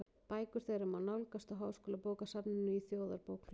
Bækur þeirra má nálgast á Háskólabókasafninu í Þjóðarbókhlöðu.